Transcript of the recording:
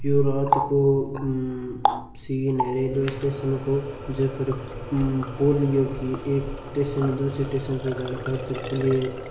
यो रात को सीन उ ए रेलवे स्टेसन को ज पर पुलियो की एक टेसन दुसारे टेसन पर जाने खातिर पुलियो --